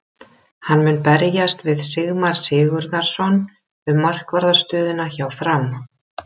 Hann mun berjast við Sigmar Sigurðarson um markvarðar stöðuna hjá Fram.